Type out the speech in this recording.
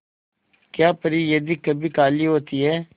क्या परी यदि कभी काली होती है